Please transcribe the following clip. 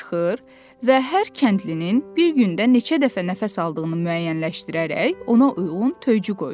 çıxır və hər kəndlinin bir gündə neçə dəfə nəfəs aldığını müəyyənləşdirərək ona uyğun töycü qoyurdu.